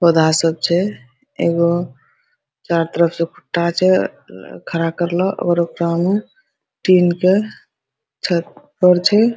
पौधा सब छै एगो चारों तरफ से खुट्टा छै उम्म खड़ा करले ओकरा टीन के छप्पर छै।